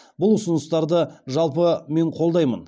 бұл ұсыныстарды жалпы мен қолдаймын